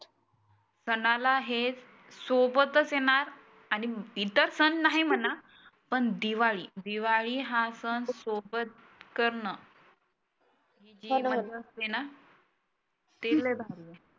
सणाला हेच सोबतच आहे ना आणि इतर सण नाही म्हणा पण दिवाळी. दिवाळी हा सण सोबत करण हि जी मजा असते ना ती लई भारी असते